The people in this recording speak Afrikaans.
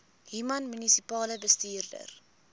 human munisipale bestuurder